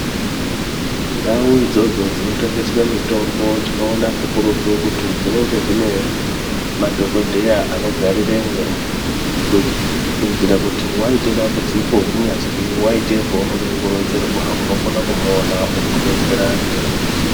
Ndau idzodzo dzinotengeswe mitombo tinoona kakurutu kuti dzinenge dzine madhokodheya anogariremwo, kuitira kuti waite dambudziko kunyazwi waite paunoda kuronzerwa unokona kumuona okudetsera ngeruziyo.